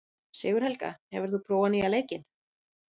Sigurhelga, hefur þú prófað nýja leikinn?